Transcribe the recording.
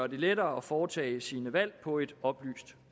lettere at foretage sine valg på et oplyst